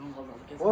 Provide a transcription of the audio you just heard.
Ətrafım qapalı.